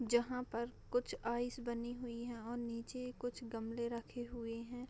जहाँ पर कुछ आइस बनी हुई हैं यहाँ नीचे कुछ गमले रखे हुई हैं |